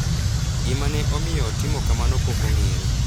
Gima ne omiyo otimo kamano pok ong’ere.